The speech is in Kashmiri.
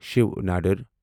شیو ندر